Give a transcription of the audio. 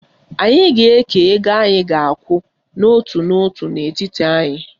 Anyị ga-eke ego anyị ga-akwụ n'otu n'otu n'etiti anyị